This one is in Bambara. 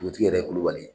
Dugutigi yɛrɛ kubali